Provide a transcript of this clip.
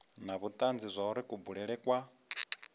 na vhutanzi zwauri kubulele kwa